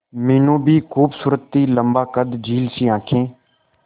मीनू भी खूबसूरत थी लम्बा कद झील सी आंखें